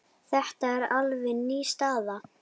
Þetta er alveg ný staða.